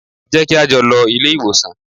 Jẹ́ kí á jọ lọ ilé ìwòsàn!